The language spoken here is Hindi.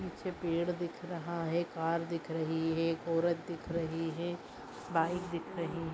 नीचे पेड़ दिख रहा है कार दिख रही है एक औरत दिख रही है बाइक दिख रही हैं।